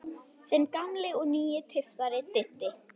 Þinn gamli og nýi tyftari, Diddi.